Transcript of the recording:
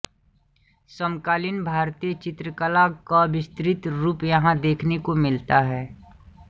समकालीन भारतीय चित्रकला क विस्तृत रूप यहाँ देखने को मिलाता है